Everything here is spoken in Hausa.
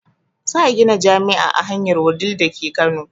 Za a gina jami'a a hanyar wudil dake kano